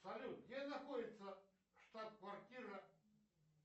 салют где находится штаб квартира